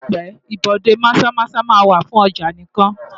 Láìpé ibodè Maza-Maza máa wà fún ọjà nìkan.